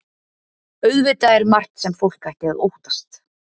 Auðvitað er margt sem fólk ætti að óttast.